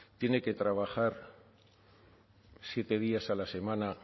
tiene que trabajar siete días a la semana